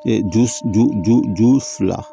ju ju ju ju fila